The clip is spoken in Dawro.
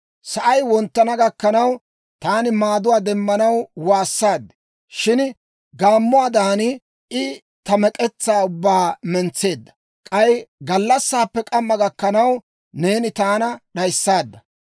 Sa'ay wonttana gakkanaw taani maaduwaa demmanaw waassaad. Shin gaammuwaadan I ta mek'etsaa ubbaa mentseedda. K'ay gallassaappe k'amma gakkanaw, neeni taana d'ayissaadda.